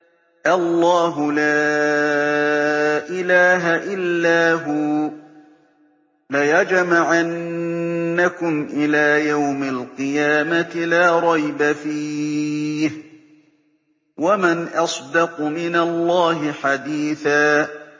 اللَّهُ لَا إِلَٰهَ إِلَّا هُوَ ۚ لَيَجْمَعَنَّكُمْ إِلَىٰ يَوْمِ الْقِيَامَةِ لَا رَيْبَ فِيهِ ۗ وَمَنْ أَصْدَقُ مِنَ اللَّهِ حَدِيثًا